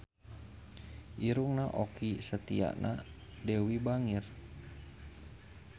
Irungna Okky Setiana Dewi bangir